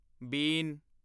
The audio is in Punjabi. ਬੀਨ